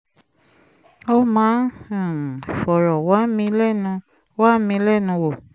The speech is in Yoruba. ó máa ń um fọ̀rọ̀ wá mi lẹ́nu wá mi lẹ́nu wò